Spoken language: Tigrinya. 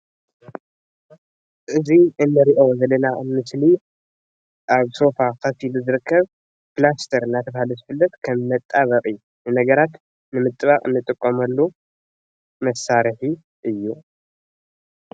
እዚ እንርእዮ ዘለና ምስሊ ኣብ ሶፋ ኮፍ ኢሉ ዝርከብ ፕላስተር እንዳተባሃለ ዝፍለጥ ከም መጣበቂ ነገራት ንምጥባቅ እንጥቀመሉ መሳርሒ እዩ።